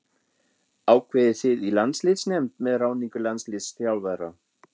Ákveðið þið í landsliðsnefnd með ráðningu landsliðsþjálfara?